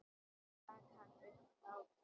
Svo rak hann upp hlátur.